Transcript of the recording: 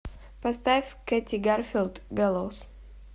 поставь кэти гарфилд гэллоус